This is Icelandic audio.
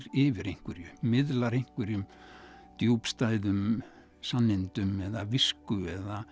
yfir einhverju miðlar einhverjum djúpstæðum sannindum eða visku